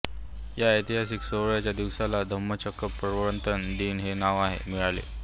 या ऐतिहासिक सोहळ्याच्या दिवसाला धम्मचक्र प्रवर्तन दिन हे नाव मिळाले